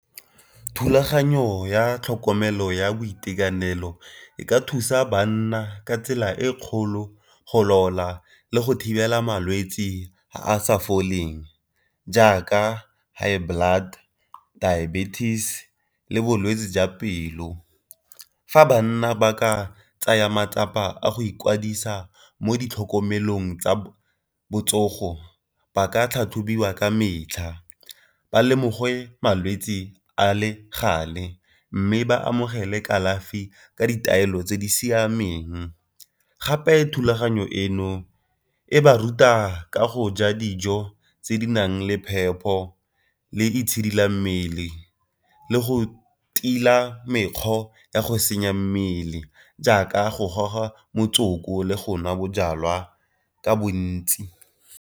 Thulaganyo ya tlhokomelo ya boitekanelo e ka thusa banna ka tsela e kgolo go laola le go thibela malwetsi a a sa foleng jaaka high blood, diabetes, le bolwetsi jwa pelo. Fa banna ba ka tsaya matsapa a go ikwadisa mo di tlhokomelong tsa botsogo ba ka tlhatlhobiwa ka metlha, ba lemogiwe malwetsi a le gale mme ba amogele kalafi ka ditaelo tse di siameng. Gape thulaganyo eno e ba ruta ka go ja dijo tse di nang le phepho le itshidila mmele le go tila mekgwa ka go senya mmele jaaka go goga motsoko le go nwa bojalwa ka bontsi.